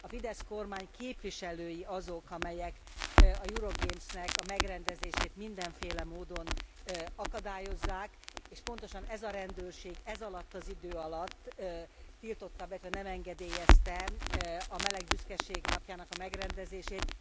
A FIDESZ kormány képviselői azok, akik a Euro Gays megrendezését mindenféle módon akadályozzák, és pontosan ez a rendőrség ez alatt az idő alatt tiltotta be, illetve nem engedélyezte a meleg büszkeség napja megrendezését.